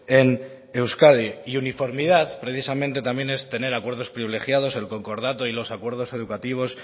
en euskadi y uniformidad precisamente también es tener acuerdos privilegiados el concordato y los acuerdos educativos